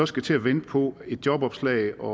skal til at vente på et jobopslag og